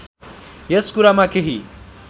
यस कुरामा केही